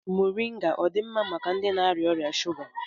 Mọrịnga ọ dị mma maka ndị na-arịa ọrịa shuga?